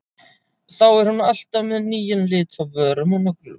Þá er hún alltaf með nýjan lit á vörum og nöglum.